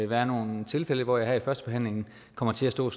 være nogle tilfælde hvor jeg under førstebehandlingen kommer til at stå